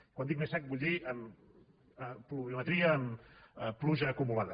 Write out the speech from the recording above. quan dic més sec vull dir en pluviometria en pluja acumulada